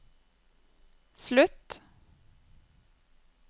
slutt